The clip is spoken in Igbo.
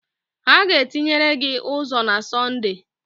Ha ga-etinyere gị ụzọ na Sọnde